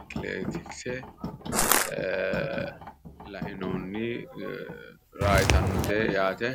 atilitikise la'inohunni raa yitannote yaate